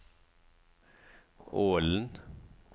Ålen